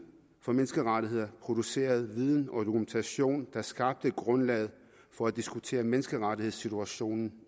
for menneskerettigheder producerede viden og dokumentation der skabte grundlaget for at diskutere menneskerettighedssituationen